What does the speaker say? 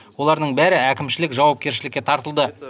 олардың бәрі әкімшілік жауапкершілікке тартылды